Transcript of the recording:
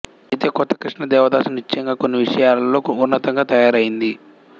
ఐతే కొత్త కృష్ణ దేవదాసు నిశ్చయంగా కొన్ని విషయాలలో ఉన్నతంగా తయారయ్యింది